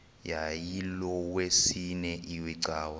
yayilolwesine iwe cawa